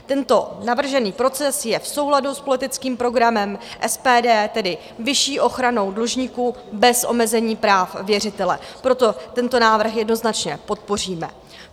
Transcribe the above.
Tento navržený proces je v souladu s politickým programem SPD, tedy vyšší ochranou dlužníků bez omezení práv věřitele, proto tento návrh jednoznačně podpoříme.